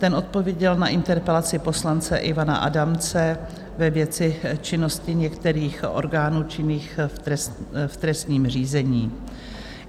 Ten odpověděl na interpelaci poslance Ivana Adamce ve věci činnosti některých orgánů činných v trestním řízení.